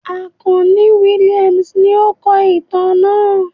Akanni Williams ni o kọ itan naa